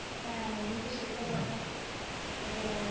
হ্যাঁ, এমনিতে শিক্ষকতা এটাই আমার